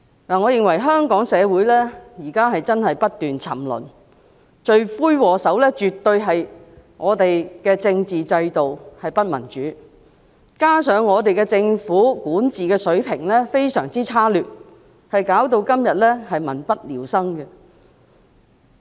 我認為香港社會現時真的不斷沉淪，而罪魁禍首絕對是我們的政治制度不民主，加上政府的管治水平非常差劣，以致今天民不聊生。